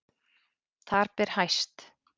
Þar ber hæst